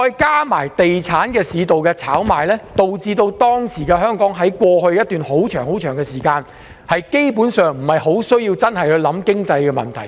加上地產市道的炒賣，令香港在過去一段長時間，基本上不太需要考慮經濟問題。